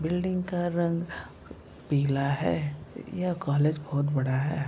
Building का रंग पीला है। यह कॉलेज बोहोत बड़ा है।